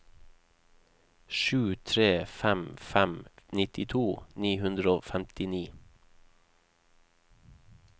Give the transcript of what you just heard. sju tre fem fem nittito ni hundre og femtini